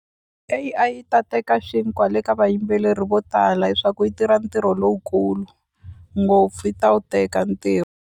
A_I yi ta teka xinkwa le ka vayimbeleri vo tala hi swa ku yi tirha ntirho lowukulu ngopfu yi ta wu teka .